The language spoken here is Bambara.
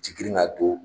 Ci girin ka don